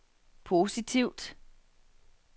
positivt